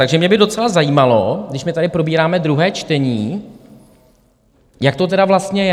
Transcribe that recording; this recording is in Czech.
Takže mě by docela zajímalo, když my tady probíráme druhé čtení, jak to tedy vlastně je.